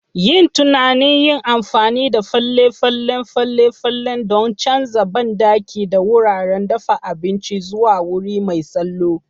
Yin tunanin yin amfani da fale-falen fale-falen don canza banɗaki da wuraren dafa abinci zuwa wuri mai salo